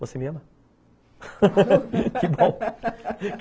Você me ama?